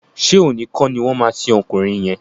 Ṣé òní kọ́ ni wọ́n máa sin ọkùnrin yẹn?